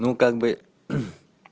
ну как бы